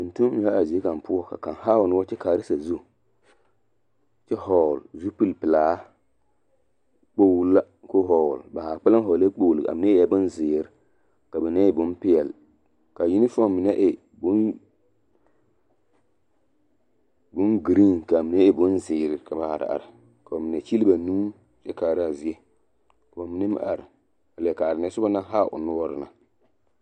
Tontonneba zie kaŋ poɔ ka haa o noɔre kyɛ kaara sazu kyɛ hɔɔle zupilipelaa kpooli la ka o hɔɔle ba haa kpaleŋ hɔɔle kpooli ka mine e zeere ka mine e bonpeɛle ka unifɔme meŋ e bonvaare ka a mine e bonzeere ka ba are are ka bamine kyele ba nuuri kyɛ kaara a zie ka bamine meŋ are a leɛ kaara neɛ na soba naŋ haa o noɔre na.